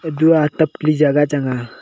edua atap kali jaga chang a.